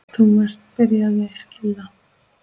Þú ert. byrjaði Lilla.